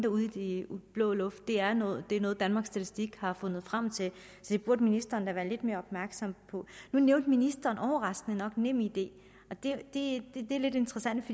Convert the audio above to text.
ude i den blå luft det er noget er noget danmarks statistik har fundet frem til så det burde ministeren da være lidt mere opmærksom på nu nævnte ministeren overraskende nok nemid det er lidt interessant